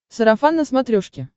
сарафан на смотрешке